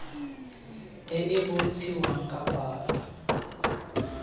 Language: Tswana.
e e bontshiwang ka palo